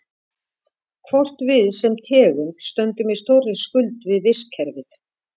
Hvort við sem tegund stöndum í stórri skuld við vistkerfið?